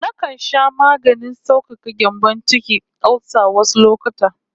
Nakan sha maganin saukaka gyambon ciki (olsa) wasu lokuta